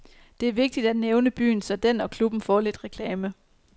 Det er vigtig at nævne byen, så den og klubben får lidt reklame.